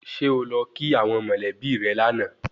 Ṣé o lọ kí àwọn mọ̀lẹ́bí rẹ lánàá